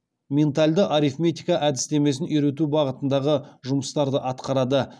ментальді арифметика әдістемесін үйрету бағытындағы жұмыстарды атқарады